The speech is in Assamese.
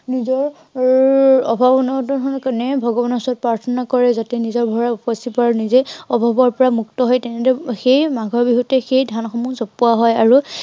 যত এৰ অভাৱ অনাটনৰ কাৰনে ভগৱানৰ ওচৰত প্ৰাৰ্থনা কৰে, যাতে নিজৰ ভঁৰাল উপচি পৰে আৰু নিজেই অভাৱৰ পৰা মুক্ত হৈ তেনেদৰে সেই মাঘৰ বিহুতেই সেই ধানসমূহ চোপাৱা হয় আৰু